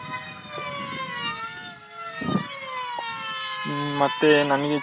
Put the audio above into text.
ಹಮ್ ಮತ್ತೆ ನಂಗೆ ಚೆನ್ನಾಗ್ ಆವಾಗ